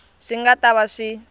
swi nga ta va swi